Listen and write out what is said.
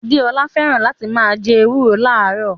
Adeola fẹ́ràn láti máa jẹ ewúro láàárò